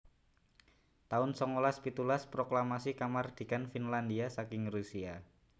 taun songolas pitulas Proklamasi Kamardikan Finlandhia saking Rusia